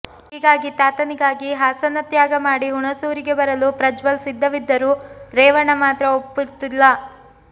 ಹೀಗಾಗಿ ತಾತನಿಗಾಗಿ ಹಾಸನ ತ್ಯಾಗ ಮಾಡಿ ಹುಣಸೂರಿಗೆ ಬರಲು ಪ್ರಜ್ವಲ್ ಸಿದ್ಧವಿದ್ದರೂ ರೇವಣ್ಣ ಮಾತ್ರ ಒಪ್ಪುತ್ತಿಲ್ಲ